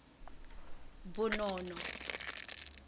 bonono